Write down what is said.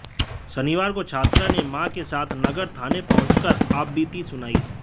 शनिवार को छात्रा ने मां के साथ नगर थाने पहुंचकर आपबीती सुनाई